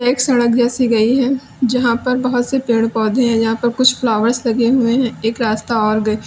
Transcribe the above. एक सड़क जैसी गई है जहां पर बहुत से पेड़ पौधे हैं यहां पर कुछ फ्लावर्स लगे हुए हैं एक रास्ता और ग--